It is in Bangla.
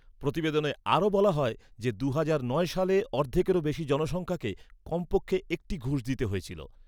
প্রতিবেদনে আরও বলা হয় যে দুহাজার নয় সালে অর্ধেকেরও বেশি জনসংখ্যাকে কমপক্ষে একটি ঘুষ দিতে হয়েছিল।